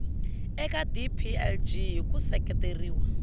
eka dplg hi ku seketeriwa